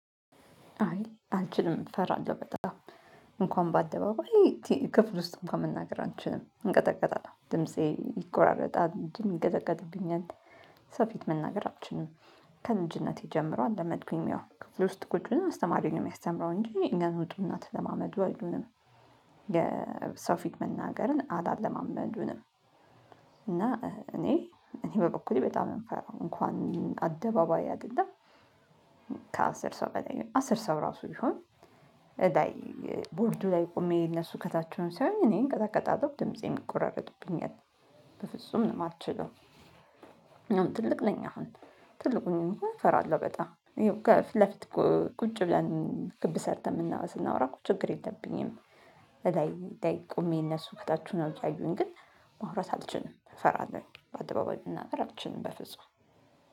አይ አልችልም እፈራለሁ በጣም እንኳን ባደባባይ ቲ ክፍል ውስጥ እንኳን መናገር አልችልም እንቀጠቀጣለሁ ድምፄ ይቆራረጣል እጄም ይንቀጠቀጥብኛል ሰው ፊት መናገር አልችልም። ከልጅነቴ ጀምሮ አለመድኩኝም ያው ክፍል ውስጥ ቁጭ ብለን አስተማሪው ነው የሚያስተምረው እንጂ እኛን ውጡ እና ተለማመዱ አይሉንም የሰው ፊት መናገርን አላለማመዱንም። እና እኔ እኔ በበኩሌ በጣም ነው እሚፈራው እንኳን አደባባይ አደለም። ከአስር ሰው በላይ አስር ሰው ራሱ ይሁን። እዳይ ቦርዱ ላይ ቆሜ እነሱ ከታች ሆነው ሲያዩኝ እኔ እንቀጠቀጣለሁ ድምፄም ይቆራረጥብኛል። በፍጹም ነው ማልችለው። አሁን ትልቅ ነኛ አሁን ትልቅ ሆኜም እንኳን እፈራለሁ በጣም ይኸው ከፊት ለፊት እኮ ቁጭ ብለን ክብ ሰርተን ምናወ ስናወራ እኮ ችግር የለብኝም። እላይ ላይ ቆሜ እነሱ ከታች ሆነው ሲያዩኝ ግን ማውራት አልችልም ፈራለሁኝ በአደባባይ መናገር አልችልም በፍጹም